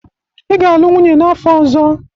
Ị ga-alụ nwunye n'afọ ọzọ!